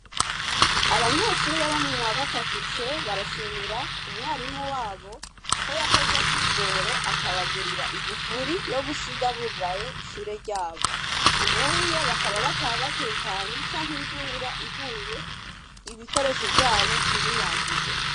Abanyeshure bo muwa gatatu C barashimira umwarimu wabo ko yakoze akigoro, akabagurira igufuri yo gusiga bugaye ishure ryabo. Ubuye bakaba bataha batekanye canke imvura iguye, ibikoresho vyabo ntibinyagigwe.